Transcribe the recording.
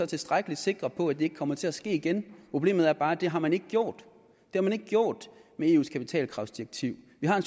tilstrækkelig sikre på at det ikke kommer til at ske igen problemet er bare at det har man ikke gjort med eus kapitalkravsdirektiv vi har